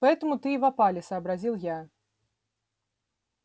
поэтому ты и в опале сообразил я